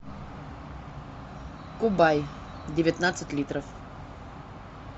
кубай девятнадцать литров